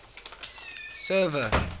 server